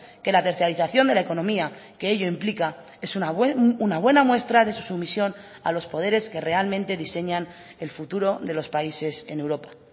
que la tercerización de la economía que ello implica es una buena muestra de su sumisión a los poderes que realmente diseñan el futuro de los países en europa